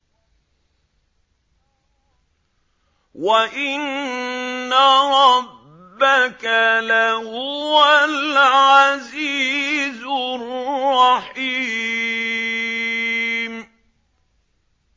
وَإِنَّ رَبَّكَ لَهُوَ الْعَزِيزُ الرَّحِيمُ